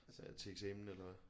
Altså til eksamen eller hvad